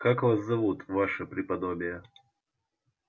как вас зовут ваше преподобие